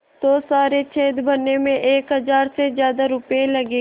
तो सारे छेद भरने में एक हज़ार से ज़्यादा रुपये लगेंगे